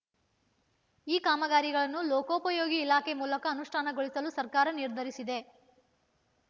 ಈ ಕಾಮಗಾರಿಗಳನ್ನು ಲೋಕೋಪಯೋಗಿ ಇಲಾಖೆ ಮೂಲಕ ಅನುಷ್ಠಾನಗೊಳಿಸಲು ಸರ್ಕಾರ ನಿರ್ಧರಿಸಿದೆ